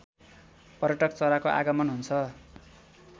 पर्यटक चराको आगमन हुन्छ